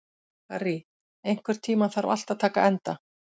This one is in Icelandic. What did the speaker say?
Harry, einhvern tímann þarf allt að taka enda.